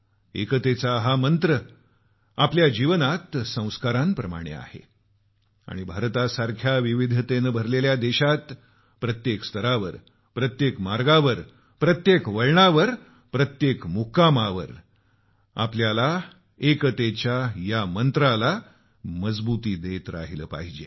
एकतेचा हा मंत्र आमच्या जीवनात संस्काराप्रमाणे आहे आणि भारतासारख्या विविधतेनं भरलेल्या देशात प्रत्येक स्तरावर प्रत्येक मार्गावर प्रत्येक वळणावर प्रत्येक मुक्कामावर आपल्याला एकतेच्या या मंत्राला मजबुती देत राहिलं पाहिजे